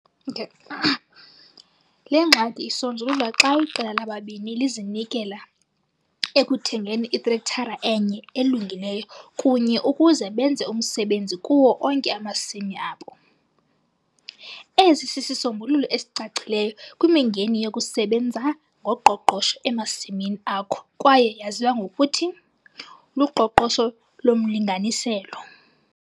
Le ngxaki isonjululwa xa iqela labalimi lizinikela ekuthengeni itrektara enye elungileyo kunye ukuze benze umsebenzi kuwo onke amasimi abo. Esi sisisombululo esicacileyo kwimingeni yokusebenza ngoqoqosho emasimini akho kwaye yaziwa ngokuthi "luqoqosho lomlinganiselo".